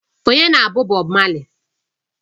Ọnye na-bụ Bob marley